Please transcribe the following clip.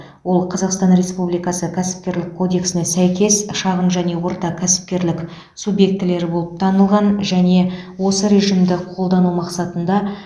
ол қазақстан республикасы кәсіпкерлік кодексіне сәйкес шағын және орта кәсіпкерлік субъектілері болып танылған және осы режимді қолдану мақсатында